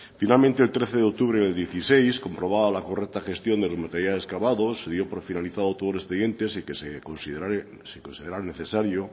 finalmente el trece de octubre del dieciséis comprobaba la correcta gestión de los materiales cavados se dio por finalizado todo el expediente sin que se considerara necesario